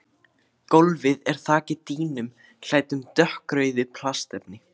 Gólfið er þakið dýnum klæddum dökkrauðu plastefni.